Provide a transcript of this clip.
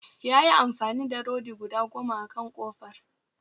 Ya yi amfani da rodi guda goma akan kofar